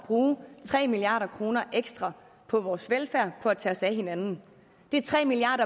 bruge tre milliard kroner ekstra på vores velfærd på at tage sig af hinanden det er tre milliard